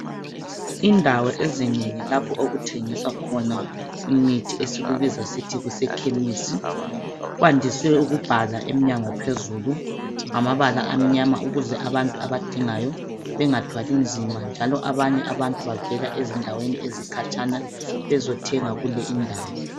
Indawo ezinengi lapho okuthengiswa khona imithi esikubiza sisithi kuse khemisi kwandise ukubhalwa eminyango phezulu ngamabala amnyama ukuze abantu abadingayo bengathwali nzima njalo abanye abantu bavela ezindaweni ezikhatshana bezothenga kule indawo.